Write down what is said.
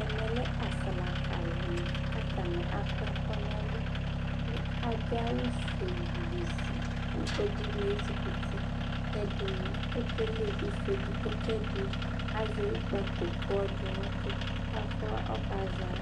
ɛmɛ lɛ aslaka ni k'atani akɔ ɛkò n'ɛlu kò adu awu fue bezi k'ɛdini ezikuti k'ɛdini ekele ifɔ edigbo k'ɛdi azɛ ikpako k'ɔdò no òtò k'afɔ ɔka zɔ